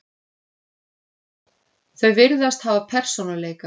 Þau virðast hafa persónuleika.